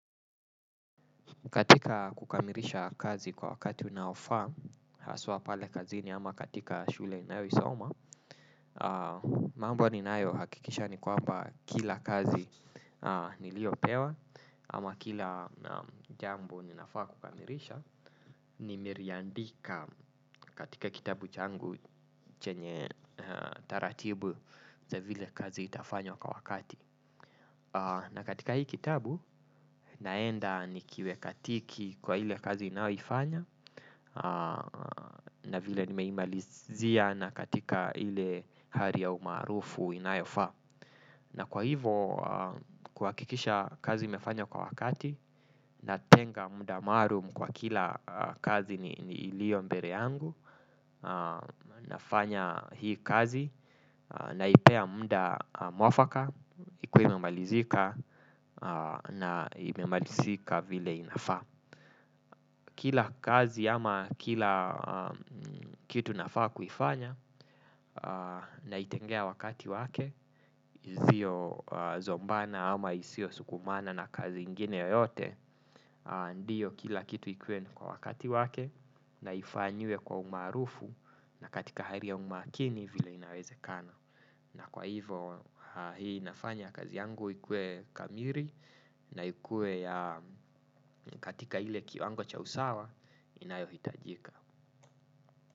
Katika kukamirisha kazi kwa wakati unaofaa, haswa pale kazini ama katika shule inayo isoma, mambo ninayo hakikisha ni kwamba kila kazi niliyo pewa ama kila jambo ninafaa kukamirisha, ni meriandika katika kitabu changu chenye taratibu za vile kazi itafanywa kwa wakati. Na katika hii kitabu naenda nikiweka tiki kwa ile kazi inaoifanya na vile nimeimalizia na katika ile hari ya umaarufu inayofaa. Na kwa hivo kuhakikisha kazi imefanya kwa wakati na tenga muda maarum kwa kila kazi ni ilio mbere yangu nafanya hii kazi naipea mudaa mwafaka ikue imemalizika na imemalizika vile inafaa kila kazi ama kila kitu nafaa kuifanya na itengea wakati wake zio zombana ama isio sukumana na kazi ingine yoyote ndiyo kila kitu ikuwe ni kwa wakati wake na ifanywe kwa umaarufu na katika haria umakini vila inaweze kana na kwa hivo hii inafanya kazi yangu ikue kamiri na ikue ya katika ile kiwango cha usawa inayo hitajika.